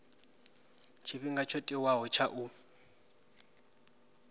tshifhinga tsho tiwaho tsha u